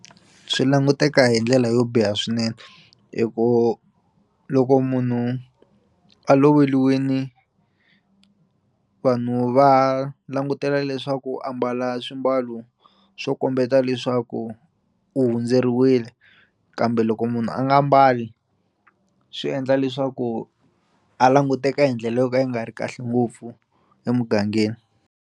Swi languteka hi ndlela yo biha swinene hi ku loko munhu a loveliwini vanhu va langutela leswaku a mbala swimbalo swo kombeta leswaku u hundzeriwile kambe loko munhu a nga mbali swi endla leswaku a languteka hi ndlela yo ka yi nga ri kahle ngopfu emugangeni.